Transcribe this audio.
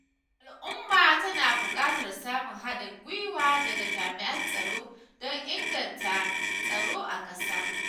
Al'umma tana buƙatar samun haɗin gwiwa daga jami'an tsaro don inganta tsaro a ƙasa